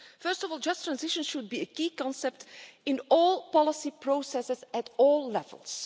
First of all, just transition should be a key concept in all policy processes at all levels.